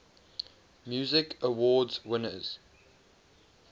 music awards winners